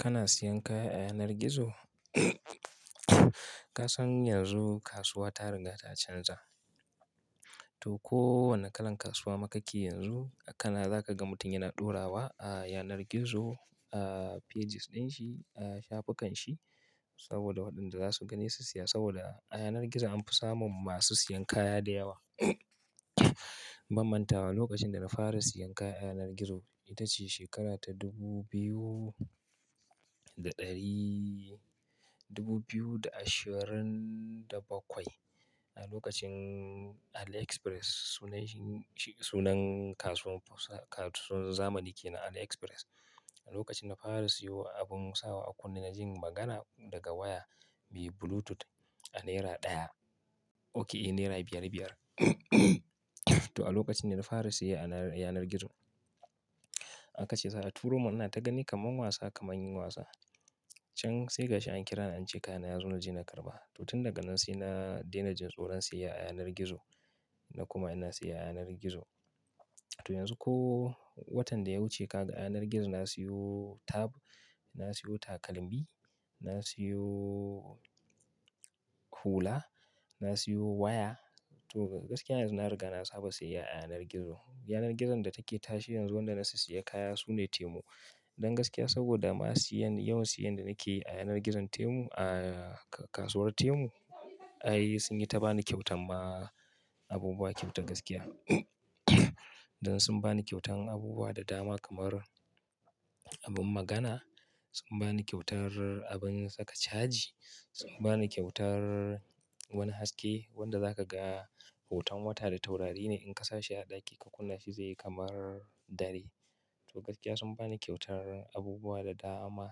Kana siyan kaya a yanar gizo? Ka san yanzu kasuwa ta riga ta canja. To kowane kalan kasuwa ma ka ke yanzu, kana za ka ga mutum yana dorawa a yanar gizo a pages din shi, a shafukan shi saboda waɗanda za su gani su siya saboda a yanar gizo an fi samun masu siyan kaya da yawa. Ban manta ba lokacin da na fara siyan kaya a yanar gizo ita ce shekara ta dubu biyu da ɗari-- dubu biyu da ashirin da bakwai. A lokacin Aliexpress sunan shi, sunan kasuwar zamani ke na Aliexpress. A lokacin na fara siyo abun sawa a kunne na jin magana daga waya biyu bluetooth a naira ɗaya, oke naira biyar biyar. To a lokacin da na fara siya a yanar gizo akace za, a turo mana in ta gani kaman wasa, kaman yin wasa. Can sai kashi an kira ni an ce kaya na ya zo na je na karɓa. To tun daga nan sai na daina jin tsoron siya a yanar gizo na kuma ina siya a yanar gizo. To yanzu ko watan da ya wuce ka ga a yanar gizo na siyo tab, na siyo takalmi, na siyo hula, na siyo waya. To gaskiya yanzu na riga na saba siya a yanar gizo. Yanar gizon da take tashi yanzu wanda na siya kaya sune Temu. Don gaskiya saboda ma siyan, yawan siyan da nake yi a yanar gizon Temu, a kasuwar Temu ai sun yi ta bani kyautar ma abubuwa kyauta gaskiya. Don sun bani kyautan abubuwa da dama kamar abin magana, sun bani kyautar abin saka caji, sun bani kyautar wani haske wanda za ka ga hoton wata da taurari ne in ka sa shi a ɗaki ka kunna shi zai yi kamar dare. To gaskiya sun bani kyautar abubuwa da dama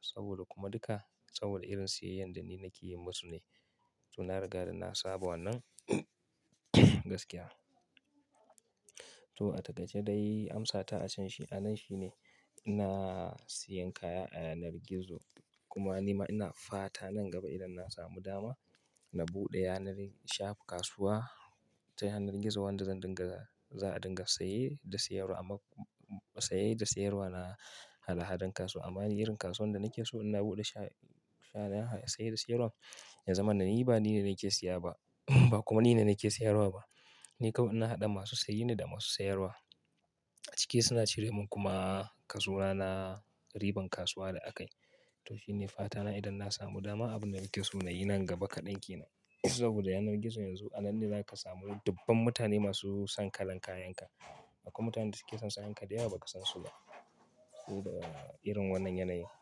saboda kuma duka, saboda irin siyayyan da ni nake yi masu ne. To na riga ra na saba wannan gaskiya. To a ta gaje dai amsa ta a can shi a nan shi ne ina siyan kaya a yanar gizo. Kuma ni ma ina fata nan gaba idan na samu dama na buɗe yanarin shaf kasuwa ta yanar gizo wanda zan dinga, za a dinga saye da siyarwa amma saye da siyarwa na hada hadan kasuwa. Amma ni irin kasuwar da nake so ina buɗe shafa saye da siyarwa, ya zama na ni ba ni ne nake siya ba ba kuma ni ne nake siyarwa ba. Ni kawai ina haɗa masu saye ne da masu siyarwa. A cike suna cire min kuma kasona na, riban kasuwa da akai. To shi ne fata na idan na samu dama, abin da nake so na yi nan gaba kaɗan ke nan. Saboda yanar gizo yanzu a nan ne za ka samu dubban mutane masu son kalan kayan ka. Akwai mutanen da suke son sayan ka da yawa baka san su ba. Saboda irin wannan yanayin.